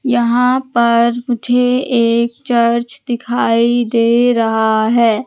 यहां पर मुझे एक चर्च दिखाई दे रहा है।